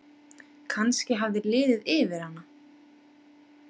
Kannski hafði liðið yfir hana.